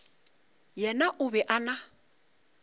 yena o be a na